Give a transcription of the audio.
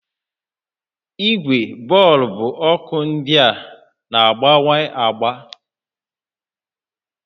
Igwe bọọlbụ ọkụ ndịa na-agbanwe agba